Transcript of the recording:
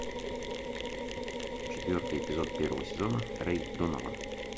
четвертый эпизод первого сезона рэй донован